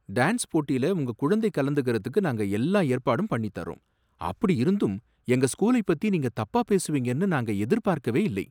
Dance போட்டில உங்க குழந்தை கலந்துக்கறதுக்கு நாங்க எல்லா ஏற்பாடும் பண்ணித் தர்றோம், அப்படி இருந்தும் எங்க ஸ்கூலைப் பத்தி நீங்க தப்பா பேசுவீங்கன்னு நாங்க எதிர்பார்க்கவே இல்லை.